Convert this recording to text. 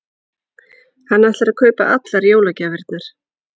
Hann ætlar að kaupa allar jólagjafirnar.